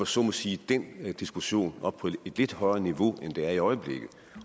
så må sige den diskussion op på et lidt højere niveau end den er i øjeblikket